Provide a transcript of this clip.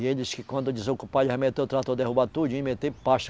E ele disse que quando desocupar ele vai meter o trator, derrubar tudinho e meter pasto.